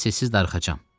Səssiz darıxacağam.